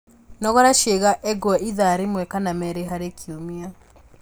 Nogora ciĩga engwe ithaa rĩmwe kana merĩ harĩ kiumia